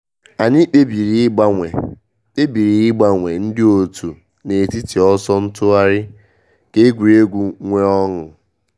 Anyị kpebiri ịgbanwe kpebiri ịgbanwe ndị òtù n’etiti ọsọ ntụgharị ka egwuregwu nwee ọṅụ.